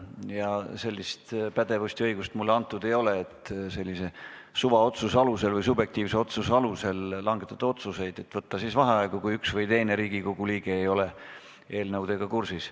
Ja sellist pädevust ja õigust mulle antud ei ole, et oma subjektiivse arvamuse alusel langetada otsuseid võtta vaheaegu, kui üks või teine Riigikogu liige ei ole minu meelest eelnõudega kursis.